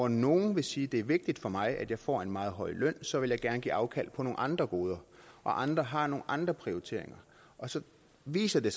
nogle vil sige det er vigtigt for mig at jeg får en meget høj løn og så vil jeg gerne give afkald på nogle andre goder andre har nogle andre prioriteringer og så viser det